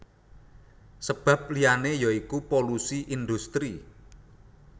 Sabab liyané ya iku polusi indhustri